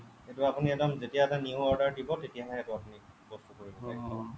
সেইটো আপুনি এবাৰ যেতিয়া আপুনি new order দিব তেতিয়াহে সেইটো আপুনি বস্তুটো কৰিব পাৰিব